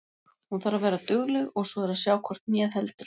Hún þarf að vera dugleg og svo er að sjá hvort hnéð heldur.